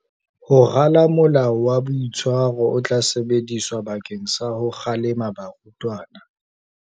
Ho rala molao wa boitshwaro o tla sebediswa bakeng sa ho kgalema barutwana.